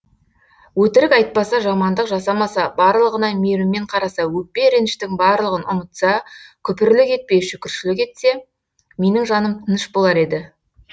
өтірік айтпаса жамандық жасамаса барлығына мейіріммен қараса өкпе реніштің барлығын ұмытса күпірлік етпей шүкіршілік етсе менің жаным тыныш болар еді